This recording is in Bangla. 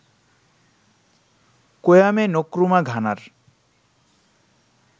Kwame Nkrumah ঘানার